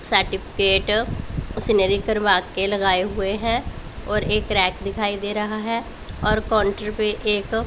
certificate ओ scenery करवा के लगाए हुए हैं और एक रैक दिखाई दे रहा है और काउंटर पे एक--